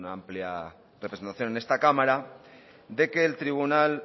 una amplia representación en esta cámara de que el tribunal